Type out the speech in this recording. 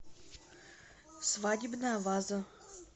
свадебная ваза